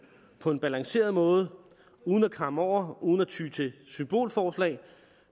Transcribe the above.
på en balanceret måde uden at kamme over uden at ty til symbolforslag